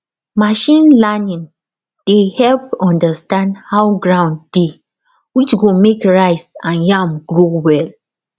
machine learning dey help understand how ground dey which go make rice and yam grow well